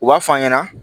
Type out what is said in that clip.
U b'a f'a ɲɛna